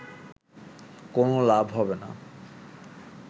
কোনও লাভ হবে না